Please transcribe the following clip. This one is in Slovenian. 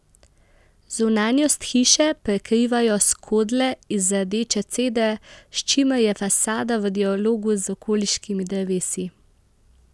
Zunanjost hiše prekrivajo skodle iz rdeče cedre, s čimer je fasada v dialogu z okoliškimi drevesi.